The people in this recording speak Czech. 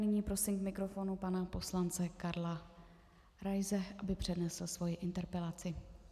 Nyní prosím k mikrofonu pana poslance Karla Raise, aby přednesl svoji interpelaci.